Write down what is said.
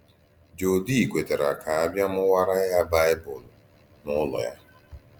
Jòdì kwètàrà kà à bìà mùwàrā yá Baịbụl n’ùlò yá.